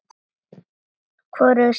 Hvorug segir orð.